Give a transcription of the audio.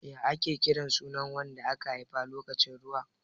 Ya ake kiran sunan wanda aka haifa lokacin ruwa?